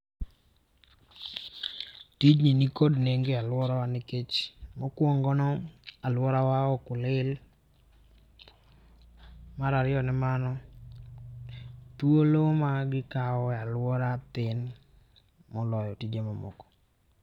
Tijni nikod nengo e aluora wa nikech mokuongo ni alworawa ok lil mar ariyo ni mano thuolo magikawo e alwora tin moloyo tije mamoko.